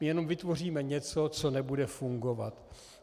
My jenom vytvoříme něco, co nebude fungovat.